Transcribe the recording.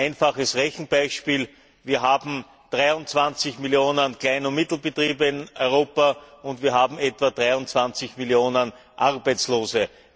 Ein einfaches Rechenbeispiel Wir haben 23 Millionen Klein und Mittelbetriebe in Europa, und wir haben etwa 23 Millionen Arbeitslose.